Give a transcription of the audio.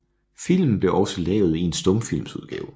Filmen blev også lavet i en stumfilmsudgave